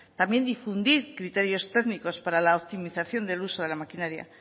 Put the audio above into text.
también difundir criterios técnicos para la optimización del uso de la maquinaria